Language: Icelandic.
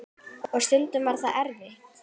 Og stundum var það erfitt.